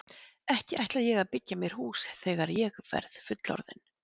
Ekki ætla ég að byggja mér hús þegar ég verð fullorðinn.